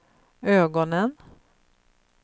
ögonen